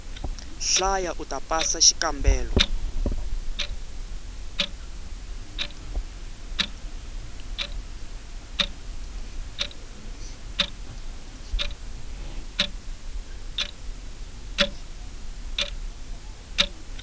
hlaya uta pasa xikambelo